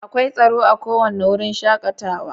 Akwai tsaro a kowane wurin shakatawa.